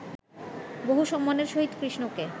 বহু সম্মানের সহিত কৃষ্ণকে